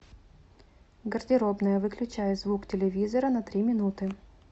гардеробная выключай звук телевизора на три минуты